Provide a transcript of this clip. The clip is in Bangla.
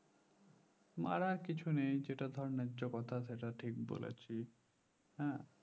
মারার কিছু নেই যেটা ধরেন ন্যায্য কথা সেটা ঠিক বলেছি হ্যাঁ